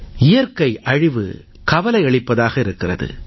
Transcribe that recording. இயற்கை அழிவு கவலையளிப்பதாக இருக்கிறது